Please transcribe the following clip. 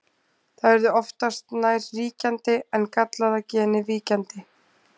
Það yrði oftast nær ríkjandi en gallaða genið víkjandi.